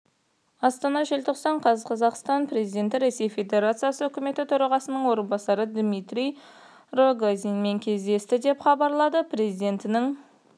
астана желтоқсан қаз қазақстан президенті ресей федерациясы үкіметі төрағасының орынбасары дмитрий рогозинмен кездесті деп хабарлады президентінің